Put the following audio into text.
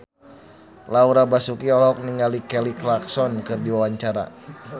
Laura Basuki olohok ningali Kelly Clarkson keur diwawancara